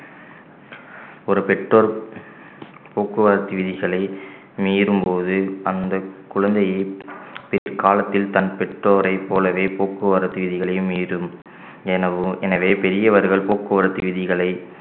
ஒரு பெற்றோர் போக்குவரத்து விதிகளை மீறும்போது அந்த குழந்தையை பிற்காலத்தில் தன் பெற்றோரைப் போலவே போக்குவரத்து விதிகளையும் மீறும் எனவும் எனவே பெரியவர்கள் போக்குவரத்து விதிகளை